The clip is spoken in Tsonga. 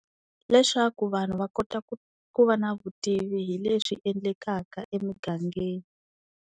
Leswaku vanhu va kota ku ku va na vutivi hi leswi endlekaka emugangeni.